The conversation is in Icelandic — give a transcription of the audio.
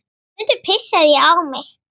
Stundum pissaði ég á mig.